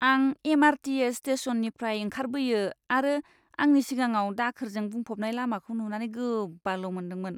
आं एम.आर.टी.एस. स्टेशननिफ्राय ओंखारबोयो आरो आंनि सिगाङाव दाखोरजों बुंफबनाय लामाखौ नुनानै गोबाल' मोन्दोंमोन।